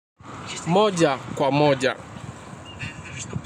Moja kwa moja.